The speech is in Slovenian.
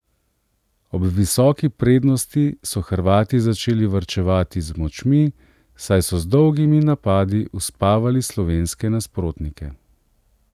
Ob visoki prednosti so Hrvati začeli varčevati z močmi, saj so z dolgimi napadi uspavali slovenske nasprotnike.